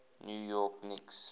new york knicks